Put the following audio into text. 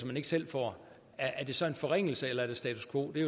man ikke selv får er det så en forringelse eller er det status quo det